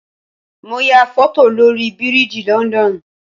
Mo ya foto lórí biriji London